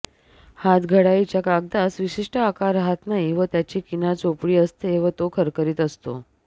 हातघडाईच्या कागदास विशिष्ट आकार रहात नाही व त्याची किनार चोपडी असते व तो खरखरीत असतो